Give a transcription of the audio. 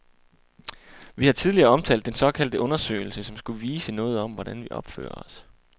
Vi har tidligere omtalt den såkaldte undersøgelse, som skulle vise noget om, hvordan vi opfører os.